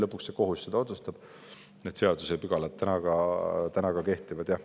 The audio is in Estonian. Ehkki lõpuks kohus otsustab, vastavad seadusepügalad kehtivad.